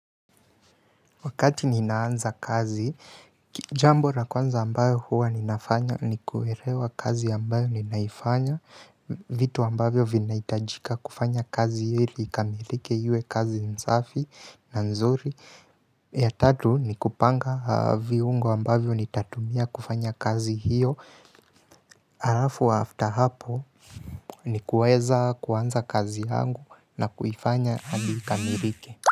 Wakati ninaanza kazi, jambo la kwanza ambayo huwa ninafanya ni kuelewa kazi ambayo ninaifanya, vitu ambavyo vinahitajika kufanya kazi ili ikamilike iwe kazi safi na nzuri. Ya tatu ni kupanga viungo ambavyo nitatumia kufanya kazi hiyo. Alafu after hapo ni kuweza kuanza kazi yangu na kuifanya hadi ikamilike.